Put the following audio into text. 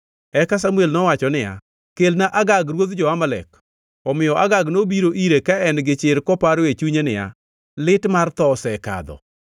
Eka Samuel nowacho niya, “Kelna Agag ruodh jo-Amalek.” Omiyo Agag nobiro ire ka en gi chir koparo e chunye niya, “Lit mar tho osekadho.”